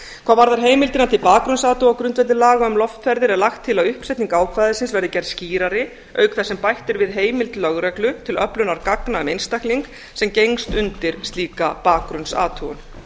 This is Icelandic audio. hvað varðar heimildina til bakgrunnsathugana á grundvelli laga um loftferðir er lagt til að uppsetning ákvæðisins verði gerð skýrari auk þess sem bætt er við heimild lögreglu til öflunar gagna um einstakling sem gengst undir slíka bakgrunnsathugun